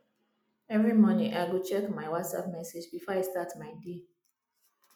every morning i go check my whatsapp messages before i start my day